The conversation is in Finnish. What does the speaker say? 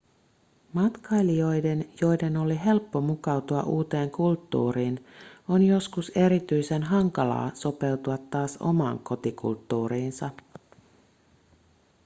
matkailijoiden joiden oli helppo mukautua uuteen kulttuuriin on joskus erityisen hankalaa sopeutua taas omaan kotikulttuuriinsa